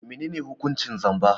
Menene hukuncin zamba?